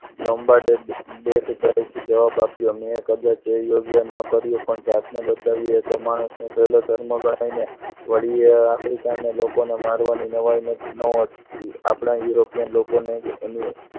lobe ગાડે બેફીકરાઈથી જવાબ આપ્યો મેં કદાચ અયોગ્ય ન કર્યું પણ કદાચ સૌને બચાવવું એ માણસનો પહેલો ધર્મ ગણાય નહીં વળી African લોકોને મારવાનું નવાઈ ન હતી આપણા Europian લોકોને એની